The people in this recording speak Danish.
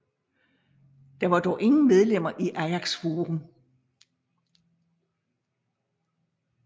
Der var dog ingen medlemmer i Ajax Farum